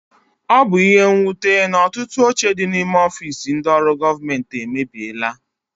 Ọ bu ihe nnwute na ọtụtụ oche dị n'ime ọfiisi ndị ọrụ gọọmenti emebiela.